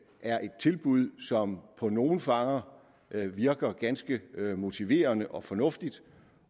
er et tilbud som på nogle fanger virker ganske motiverende og fornuftigt